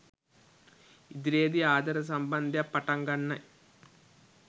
ඉදිරියේ දී ආදර සම්බන්ධයක් පටන් ගන්නයි